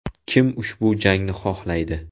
Kim ushbu jangni xohlaydi?